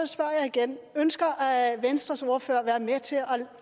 spørger jeg igen ønsker venstres ordfører at være med til at